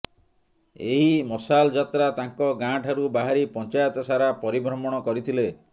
ଏହି ମସାଲ ଯାତ୍ରା ତାଙ୍କ ଗାଁଠାରୁ ବାହାରି ପଞ୍ଚାୟତସାରା ପରିଭ୍ରମଣ କରିଥିଲେ